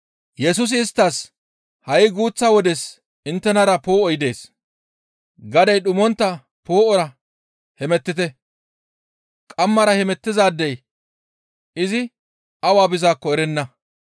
Yesusi isttas, «Ha7i guuththa wodes inttenara poo7oy dees; gadey dhumontta poo7ora hemettite; qammara hemettizaadey izi awa bizaakko erenna.